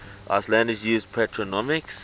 icelanders use patronymics